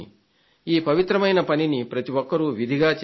ఈ పవిత్రమైన పనిని ప్రతి ఒక్కరూ విధిగా చెయ్యాలి